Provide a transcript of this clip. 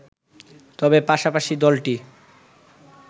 তবে পাশাপাশি দলটি